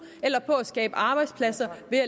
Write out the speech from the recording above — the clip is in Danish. eller på at skabe arbejdspladser ved at